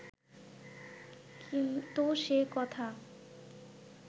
কিন্তু সে কথা